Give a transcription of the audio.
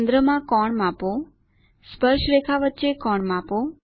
કેન્દ્રમાં કોણ માપો સ્પર્શરેખા વચ્ચે કોણ માપો